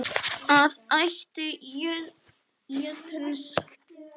eða ætt jötuns